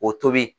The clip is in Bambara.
O tobi